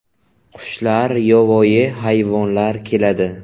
Qushlar, yovvoyi hayvonlar keladi.